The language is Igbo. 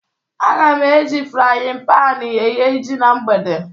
Aga m eji frayịn panị eghe ji na mgbede.